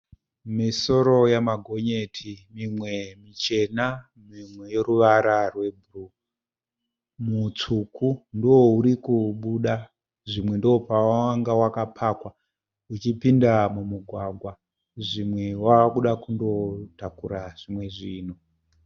Misoro yamagonyeti mimwe michena mimwe yeruvara rwebhuruu. Mutsvuku ndoouri kubuda zvimwe ndopawanga wakapakwa ichipinda mumugwagwa zvimwe wakuda kunotakura zvimwe zvinhu.